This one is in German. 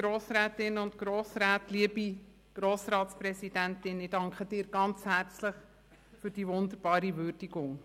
Ich danke der Präsidentin ganz herzlich für diese wunderbare Würdigung.